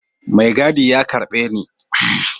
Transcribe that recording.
Mai gadi ya karbe Ni.